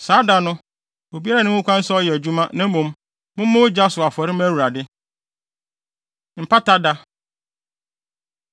Saa da no, obiara nni ho kwan sɛ ɔyɛ adwuma, na mmom, mommɔ ogya so afɔre mma Awurade.’ ” Mpata Da